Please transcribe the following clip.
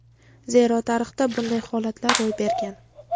Zero tarixda bunday holatlar ro‘y bergan.